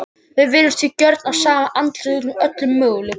Við virðumst því gjörn á að sjá andlit út úr öllu mögulegu.